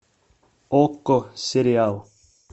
окко сериал